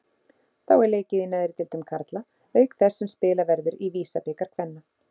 Þá er leikið í neðri deildum karla auk þess sem spilað verður í VISA-bikar kvenna.